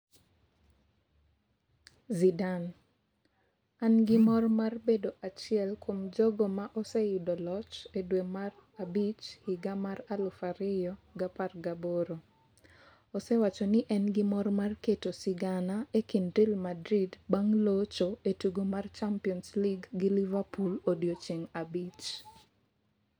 Zidane: An gi mor mar bedo achiel kuom jogo ma oseyudo loch e dwe mar abich higa mar aluf ariyo gi apar gaboro. osewacho ni en gi mor mar keto sigana e kind Real Madrid bang' locho e tugo mar Champions League gi Liverpool odiechieng' abich.